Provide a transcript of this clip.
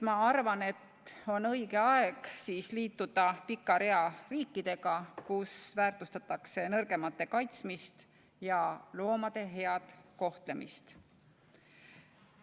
Ma arvan, et on õige aeg liituda selles pikas reas riikidega, kus väärtustatakse nõrgemate kaitsmist ja loomade head kohtlemist.